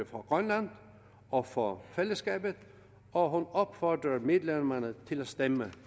fra grønland og for fællesskabet og hun opfordrer medlemmerne til at stemme